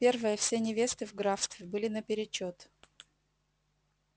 первое все невесты в графстве были наперечёт